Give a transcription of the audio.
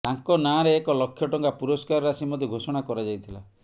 ତାଙ୍କ ନାଁରେ ଏକ ଲକ୍ଷ ଟଙ୍କା ପୁରସ୍କାର ରାଶି ମଧ୍ୟ ଘୋଷଣା କରାଯାଇଥିଲା